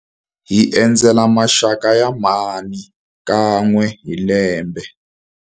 Hi endzela maxaka ya mhani kan'we hi lembe.